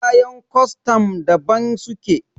kayan kwastan daban suke